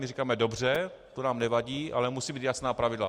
My říkáme: dobře, to nám nevadí, ale musí být jasná pravidla.